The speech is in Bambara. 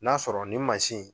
N'a sɔrɔ nin mansin in